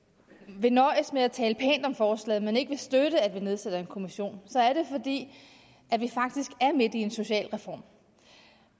vil nøjes med at tale pænt om forslaget men ikke vil støtte at vi nedsætter en kommission så er det fordi vi faktisk er midt i en socialreform